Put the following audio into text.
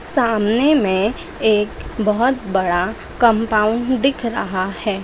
सामने में एक बहोत बड़ा कंपाउंड दिख रहा हैं।